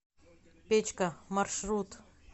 печка маршрут